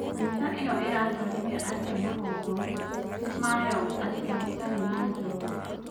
Kanitha iyo iratwarithia atia 'magongona' mayo atia gutarĩ na njohi?